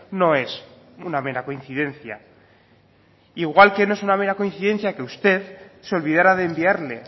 no es una mera coincidencia igual que no es una mera coincidencia que usted se olvidará de enviarle